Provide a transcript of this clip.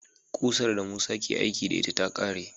Kusar da Musa ke aiki da ita ta kare